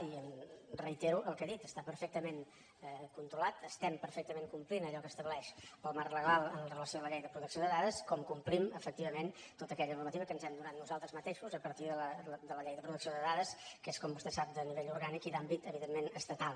i reitero el que he dit està perfectament controlat estem perfectament complint allò que estableix el marc legal amb relació a la llei de protecció de dades com complim efectivament tota aquella normativa que ens hem donat nosaltres mateixos a partir de la llei de protecció de dades que és com vostè sap de nivell orgànic i d’àmbit evidentment estatal